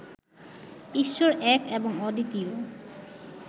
ঈশ্বর এক এবং অদ্বিতীয়